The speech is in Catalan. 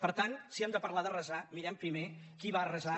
per tant si hem de parlar d’arrasar mirem primer qui va arrasar